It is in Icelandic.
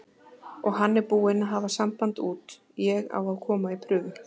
Og hann er búinn að hafa samband út, ég á að koma í prufu.